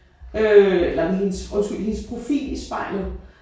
Øh eller hendes undskyld hendes profil i spejlet